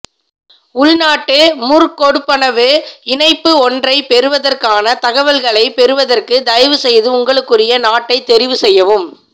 உள்நாட்டு முற்கொடுப்பனவு இணைப்பு ஒன்றை பெறுவதற்கான தகவல்களைப் பெறுவதற்கு தயவு செய்து உங்களுக்குரிய நாட்டை தெரிவு செய்யவும்